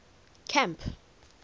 camp